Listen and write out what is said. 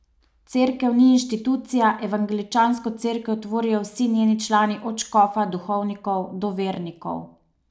Cerkev ni inštitucija, evangeličansko Cerkev tvorijo vsi njeni člani od škofa, duhovnikov do vernikov.